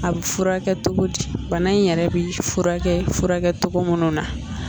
A bɛ furakɛ cogo di bana in yɛrɛ bɛ furakɛ furakɛ cogo minnu na